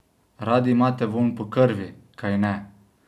Radi imate vonj po krvi, kajne?